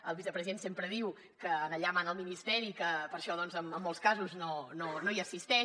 el vicepresident sempre diu que allà mana el ministeri i que per això doncs en molts casos no hi assisteix